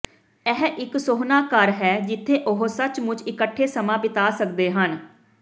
ਇਹ ਇੱਕ ਸੋਹਣਾ ਘਰ ਹੈ ਜਿੱਥੇ ਉਹ ਸੱਚਮੁੱਚ ਇਕੱਠੇ ਸਮਾਂ ਬਿਤਾ ਸਕਦੇ ਹਨ